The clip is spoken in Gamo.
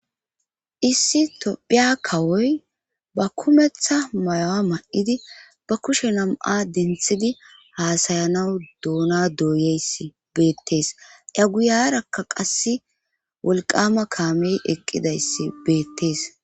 issi tophiya kawoy ba kumeththa mayowa ma7idi ba kushe nam7a denthidi haasayanawu doona dooyeyssi beettees a guyarakka qasse wolqama kaamey eqqidayssi beettees